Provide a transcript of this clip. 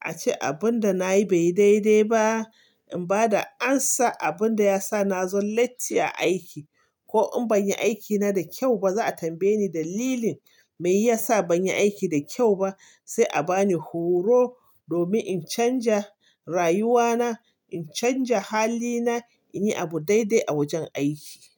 ace abun da nayi bai yi daidai ba. In bada amsa abun da yasa nazo latti a aiki ko in ban yi aikina da kyau ba za a tambaye ni dalilin me yasa ban yi aiki da kyau ba. Sai a bani horo domin in canja rayuwana, in canja hali na, in yi abu daidai a wajen aiki.